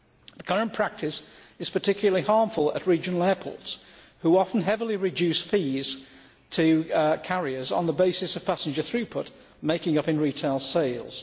The current practice is particularly harmful at regional airports, which often heavily reduce fees to carriers on the basis of passenger throughput, making these up in retail sales.